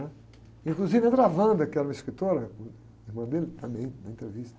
Inclusive entra a, que era uma escritora, irmã dele também, na entrevista.